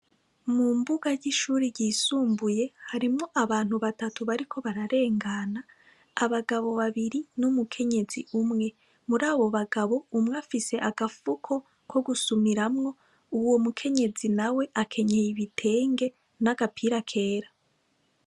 Mu mbuga ry'ishuri ryisumbuye harimwo abantu batatu bariko bararengana abagabo babiri n'umukenyezi umwe muri abo bagabo umwe afise agafuko ko gusumiramwo uwo mukenyezi nawe akenyeye ibitenge n'agapira kera.